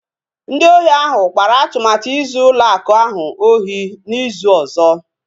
Ndị ohi ahụ kpara atụmatụ izu ụlọ akụ ahụ ohi n'izu ọzọ